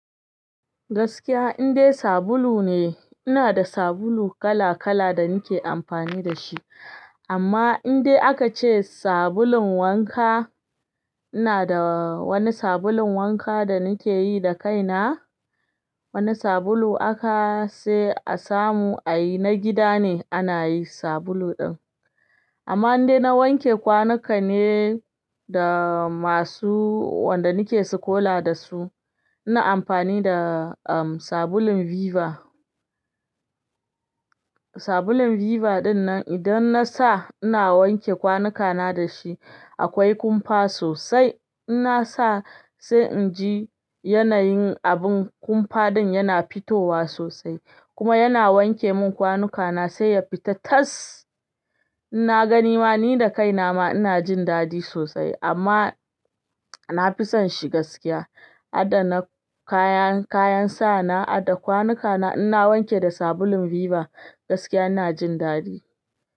Gaskiya indai sabulu ne, ina da sabulu kala kala da nike amfani da shi. Amma indai aka ce sabulun wanka, ina da wani sabulun wanka da nike yi da kaina. Wani sabulu aka sai a samu a yi na gida ne ana yi sabulu din. Amma indai na wanke kwanuka ne da masu wanda nike sikola da su, na amfani da, sabulun Viva. Sabulun Viva dinnan idan nasa ina wanke kwanukana da shi akwai kumfa sosai. Inasa sai inji yanayin abin kumfa din yana fitowa sosai kuma yana wanke mun kwanukana sai ya fita tas. In na gani ma ni da kai na ma ina jin dadi sosai amma na fi son shi gaskiya. Har da na kayan kayan sa na adana kwanuka na ina wanke da sabulun Viva gaskiya ina jin dadi.